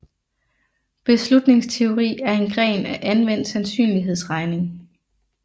Beslutningsteori er en gren af anvendt sandsynlighedsregning